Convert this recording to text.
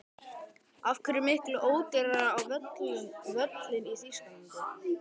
Af hverju er miklu ódýrara á völlinn í Þýskalandi?